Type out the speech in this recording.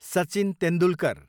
Sachin Tendulkar